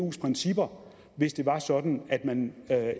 efs principper hvis det var sådan at man